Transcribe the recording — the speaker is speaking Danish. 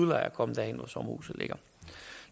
lejer at komme derhen hvor sommerhuset ligger